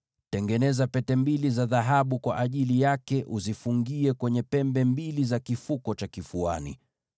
Tengeneza pete mbili za dhahabu kwa ajili yake, uzifungie kwenye pembe mbili za hicho kifuko cha kifuani.